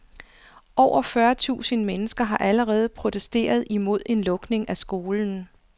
Over fyrre tusind mennesker har allerede protesteret imod en lukning af skolen.